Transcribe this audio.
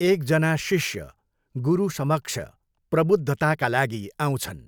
एकजना शिष्य गुरु समक्ष प्रबुद्धताका लागि आउँछन्।